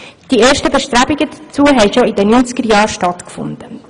Die ersten Bestrebungen dazu fanden bereits in den 90erJahren statt.